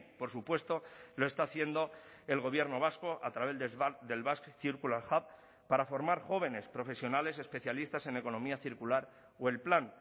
por supuesto lo está haciendo el gobierno vasco a través del basque circular hub para formar jóvenes profesionales especialistas en economía circular o el plan